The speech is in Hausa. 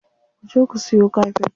Ku je ku siyo kafet.